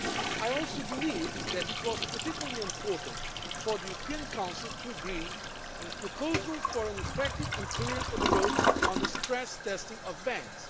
I also believed that it was particularly important for the European Council to agree on a proposal for an effective and coherent approach on the stress testing of banks.